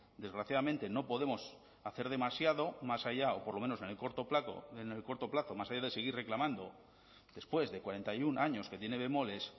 desgraciadamente no podemos hacer demasiado más allá o por lo menos en el corto plazo en el corto plazo más allá de seguir reclamando después de cuarenta y uno años que tiene bemoles